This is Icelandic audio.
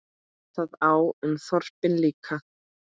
Það á um þorpin líka.